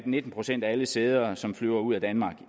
nitten procent af alle sæder som flyver ud af danmark